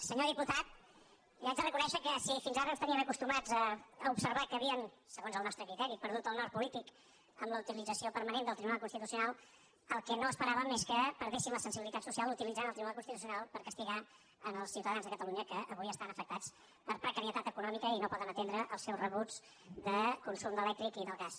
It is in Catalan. senyor diputat li haig de reconèixer que si fins ara ens tenien acostumats a observar que havien segons el nostre criteri perdut el nord polític amb la utilització permanent del tribunal constitucional el que no esperàvem és que perdessin la sensibilitat social utilitzant el tribunal constitucional per castigar els ciutadans de catalunya que avui estan afectats per precarietat econòmica i no poden atendre els seus rebuts de consum elèctric i del gas